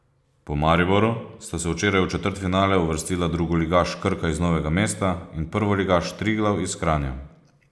Po Mariboru sta se včeraj v četrtfinale uvrstila drugoligaš Krka iz Novega mesta in prvoligaš Triglav iz Kranja.